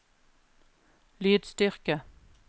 lydstyrke